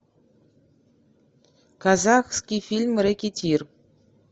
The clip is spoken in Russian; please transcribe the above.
казахский фильм рэкетир